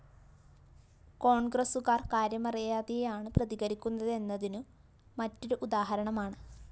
കോണ്‍ഗ്രസുകാര്‍ കാര്യമറിയാതെയാണ് പ്രതികരിക്കുന്നതെന്നതിനു മറ്റൊരു ഉദാഹരണമാണ്